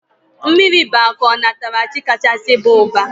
Mmiri bụ akụ onatarachi kachasị baa ụba